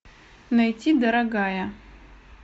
найти дорогая